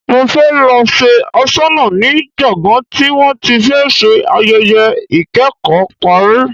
Mo fẹ́ lọ ṣe aṣọnà ní gbọ̀ngán tí wọ́n ti fẹ́ ṣe ayẹyẹ ikẹ́kọ̀ọ́ parí.